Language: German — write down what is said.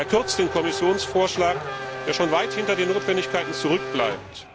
Er kürzt den Kommissionsvorschlag, der schon weit hinter den Notwendigkeiten zurückbleibt.